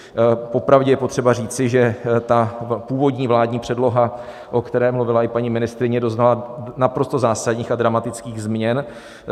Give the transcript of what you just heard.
Popravdě je potřeba říci, že ta původní vládní předloha, o které mluvila i paní ministryně, doznala naprosto zásadních a dramatických změn.